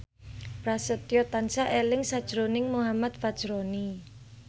Prasetyo tansah eling sakjroning Muhammad Fachroni